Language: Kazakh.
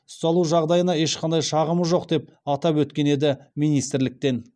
ұсталу жағдайына ешқандай шағымы жоқ деп атап өткен еді министрліктен